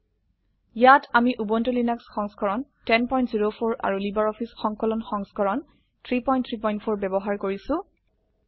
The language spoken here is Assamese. ইয়াত আমি উবুন্টু লিনাক্স সংস্কৰণ 1004 আৰু লাইব্ৰঅফিছ সংকলন সংস্কৰণ 334 ব্যবহাৰ কৰিছো